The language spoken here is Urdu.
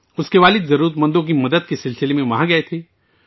اس کے والد ضرورت مندوں کی مدد کے لیے وہاں گئے تھے